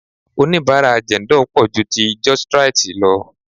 Onibara Jendol pò ju ti Justrite lọ.